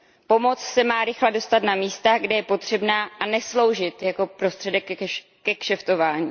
Pomoc se má rychle dostat na místa, kde je potřebná, a nesloužit jako prostředek ke kšeftování.